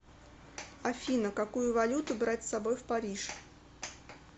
афина какую валюту брать с собой в париж